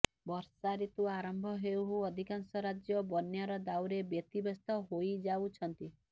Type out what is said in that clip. ବର୍ଷା ଋତୁ ଆରମ୍ଭ ହେଉ ହେଉ ଅଧିକାଂଶ ରାଜ୍ୟ ବନ୍ୟାର ଦାଉରେ ବ୍ୟତିବ୍ୟସ୍ତ ହୋଇଯାଉଛନ୍ତି